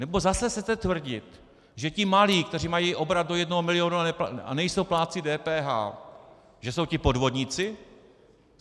Nebo zase chcete tvrdit, že ti malí, kteří mají obrat do jednoho miliónu a nejsou plátci DPH, že jsou ti podvodníci?